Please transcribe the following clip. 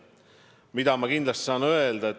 Aga mida ma kindlasti saan öelda?